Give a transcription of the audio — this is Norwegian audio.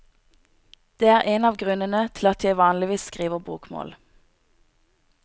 Det er en av grunnene til at jeg vanligvis skriver bokmål.